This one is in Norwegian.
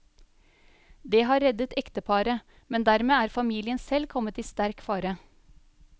Det har reddet ekteparet, men dermed er familien selv kommet i sterk fare.